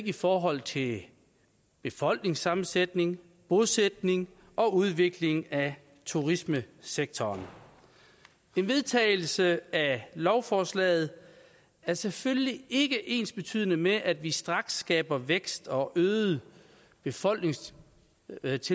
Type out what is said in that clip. i forhold til befolkningssammensætning bosætning og udvikling af turismesektoren en vedtagelse af lovforslaget er selvfølgelig ikke ensbetydende med at vi straks skaber vækst og øget befolkningstilvækst